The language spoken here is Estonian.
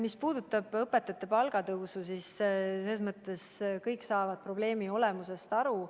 Mis puudutab õpetajate palga tõusu, siis kõik saavad probleemi olemusest aru.